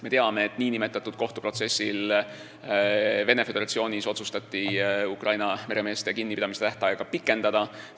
Me teame, et nn kohtuprotsessil Venemaa Föderatsioonis otsustati Ukraina meremeeste kinnipidamise tähtaega pikendada.